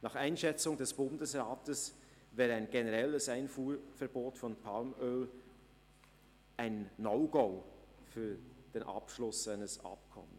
Nach Einschätzung des Bundesrats wäre ein generelles Einfuhrverbot von Palmöl ein No-Go für den Abschluss eines Abkommens.